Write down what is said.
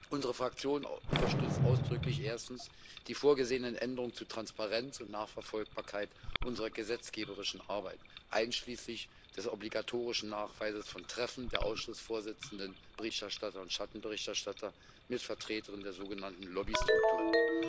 Unsere Fraktion unterstützt erstens ausdrücklich die vorgesehenen Änderungen zu Transparenz und Nachverfolgbarkeit unserer gesetzgeberischen Arbeit, einschließlich des obligatorischen Nachweises von Treffen der Ausschussvorsitzenden, Berichterstatter und Schattenberichterstatter mit Vertretern der sogenannten Lobby Strukturen.